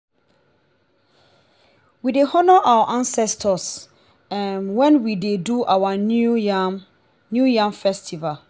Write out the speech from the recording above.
we dey honour our ancestors um wen we dey do our new yam our new yam festival.